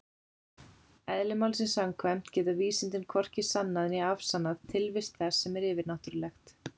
Eðli málsins samkvæmt geta vísindin hvorki sannað né afsannað tilvist þess sem er yfirnáttúrulegt.